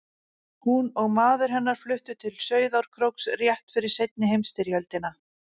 Hún og maður hennar fluttu til Sauðárkróks rétt fyrir seinni heimsstyrjöldina.